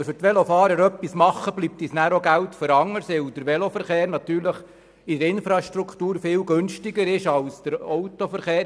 Wenn wir für die Velofahrer etwas tun, bleibt uns nachher Geld für anderes, weil der Veloverkehr in der Infrastruktur viel günstiger ist als der Autoverkehr.